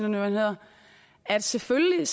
nu hedder at selvfølgelig